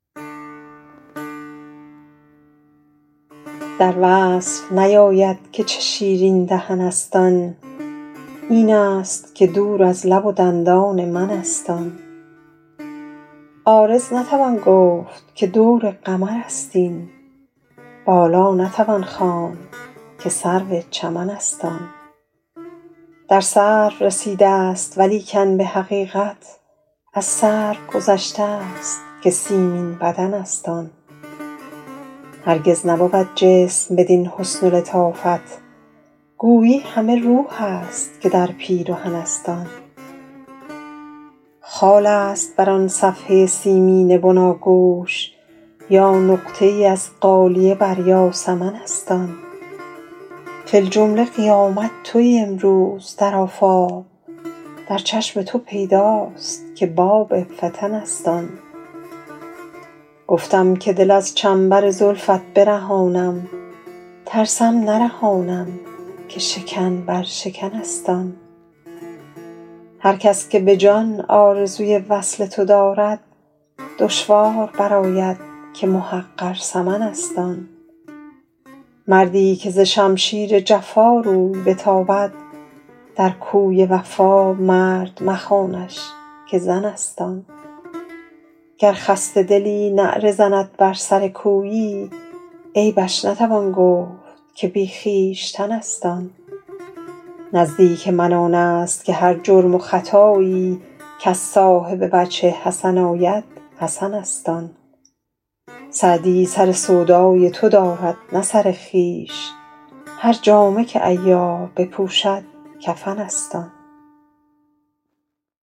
در وصف نیاید که چه شیرین دهن است آن این است که دور از لب و دندان من است آن عارض نتوان گفت که دور قمر است این بالا نتوان خواند که سرو چمن است آن در سرو رسیده ست ولیکن به حقیقت از سرو گذشته ست که سیمین بدن است آن هرگز نبود جسم بدین حسن و لطافت گویی همه روح است که در پیرهن است آن خال است بر آن صفحه سیمین بناگوش یا نقطه ای از غالیه بر یاسمن است آن فی الجمله قیامت تویی امروز در آفاق در چشم تو پیداست که باب فتن است آن گفتم که دل از چنبر زلفت برهانم ترسم نرهانم که شکن بر شکن است آن هر کس که به جان آرزوی وصل تو دارد دشوار برآید که محقر ثمن است آن مردی که ز شمشیر جفا روی بتابد در کوی وفا مرد مخوانش که زن است آن گر خسته دلی نعره زند بر سر کویی عیبش نتوان گفت که بی خویشتن است آن نزدیک من آن است که هر جرم و خطایی کز صاحب وجه حسن آید حسن است آن سعدی سر سودای تو دارد نه سر خویش هر جامه که عیار بپوشد کفن است آن